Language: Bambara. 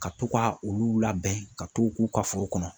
Ka to ka olu labɛn, ka t'u k'u ka foro kɔnɔ.